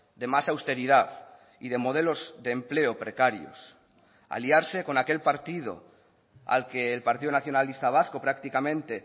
de más austeridad y de modelos de empleo precarios aliarse con aquel partido al que el partido nacionalista vasco prácticamente